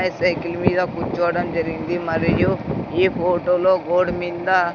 ఆ సైకిల్ మీద కూర్చోవడం జరిగింది మరియు ఈ ఫోటోలో గోడ మింద--